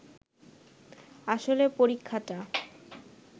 আসলে পরীক্ষাটা